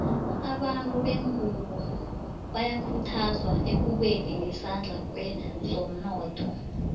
abantu bengunbo bayakhuthazwa ekubeni nesandla kwezomnotho